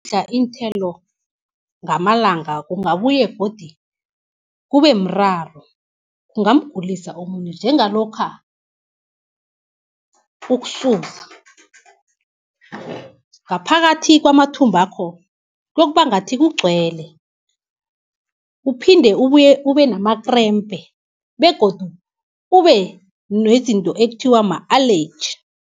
Udlla iinthelo ngamalanga kungabuye godi kubemraro kungamgulisa umuntu njengalokha ukusuza, ngaphakathi kwamathumbakho kuyokuba ngathi kugcwele, kuphinde ubenamakrempe, begodu ubenezinto ekuthiwa ma-allergy.